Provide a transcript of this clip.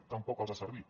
tampoc els ha servit